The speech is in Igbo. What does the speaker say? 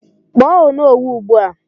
Kpọọ Onowu ugbu a!